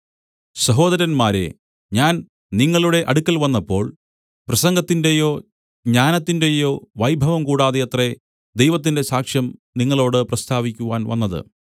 സഹോദരന്മാരേ ഞാൻ നിങ്ങളുടെ അടുക്കൽ വന്നപ്പോൾ പ്രസംഗത്തിന്റെയോ ജ്ഞാനത്തിന്റെയോ വൈഭവം കൂടാതെയത്രേ ദൈവത്തിന്റെ സാക്ഷ്യം നിങ്ങളോട് പ്രസ്താവിക്കുവാൻ വന്നത്